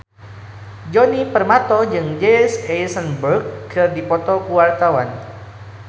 Djoni Permato jeung Jesse Eisenberg keur dipoto ku wartawan